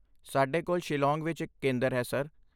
ਸਾਡੇ ਕੋਲ ਸ਼ਿਲਾਂਗ ਵਿੱਚ ਇੱਕ ਕੇਂਦਰ ਹੈ, ਸਰ।